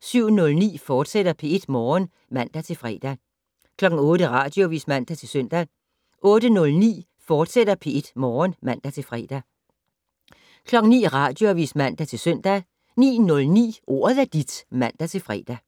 07:09: P1 Morgen, fortsat (man-fre) 08:00: Radioavis (man-søn) 08:09: P1 Morgen, fortsat (man-fre) 09:00: Radioavis (man-søn) 09:09: Ordet er dit (man-fre)